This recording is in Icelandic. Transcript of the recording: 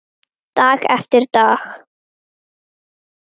Dag eftir dag.